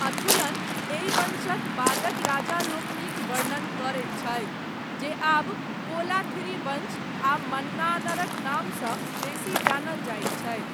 अथुलन, एहि वंशक, बादक राजालोकनिक वर्णन करैत छथि, जे आब कोलाथिरी वंश आ मन्नानरक नामसँ, बेसी जानल जाइत छथि।